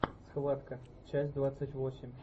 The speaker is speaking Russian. схватка часть двадцать восемь